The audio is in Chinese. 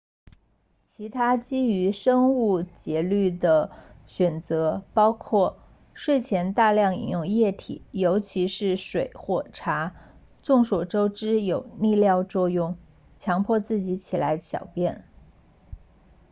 其他基于生物节律的选择包括睡前大量饮用液体尤其是水或茶众所周知有利尿作用强迫自己起来小便